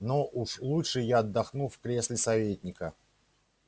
но уж лучше я отдохну в кресле советника